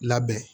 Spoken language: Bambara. Labɛn